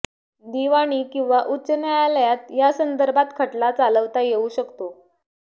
दिवाणी किंवा उच्च न्यायालयात यासंदर्भात खटला चालवता येऊ शकतो